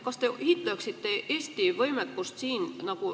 Kas te hindaksite Eesti võimekust siin?